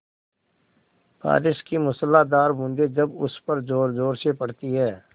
बारिश की मूसलाधार बूँदें जब उस पर ज़ोरज़ोर से पड़ती हैं